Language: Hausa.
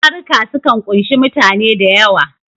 Taruka sukan ƙunshi mutane da yawa.